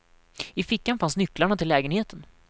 I fickan fanns nycklarna till lägenheten.